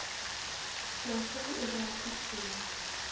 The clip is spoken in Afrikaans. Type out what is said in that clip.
plaaslike owerheid toegeken